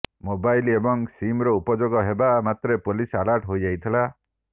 mobile ଏବଂ ସିମର ଉପଯୋଗ ହେବା ମାତ୍ରେ ପୋଲିସ୍ ଆଲର୍ଟ ହୋଇଯାଇଥିଲା